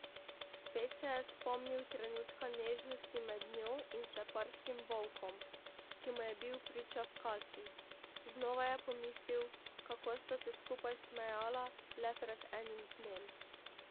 Spet se je spomnil trenutka nežnosti med njo in sleparskim Volkom, ki mu je bil priča v kasbi, znova je pomislil, kako sta se skupaj smejala le pred enim dnem.